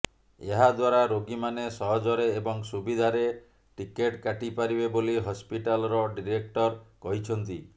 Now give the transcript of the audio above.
ଏହା ଦ୍ୱାରା ରୋଗୀମାନେ ସହଜରେ ଏବଂ ସୁବିଧାରେ ଟିକେଟ କାଟି ପାରିବେ ବୋଲି ହସ୍ପିଟାଲର ଡିରେକ୍ଟର କହିଛନ୍ତି